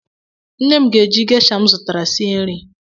Nne m ga-eji gesha m zụtara sie nri